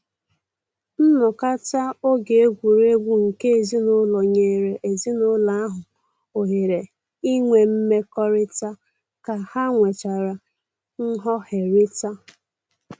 Nnọkọta oge egwuregwu nke ezinụlọ nyere ezinụlọ ahụ ohere inwe mmekọrịta ka ha nwechara nghọherita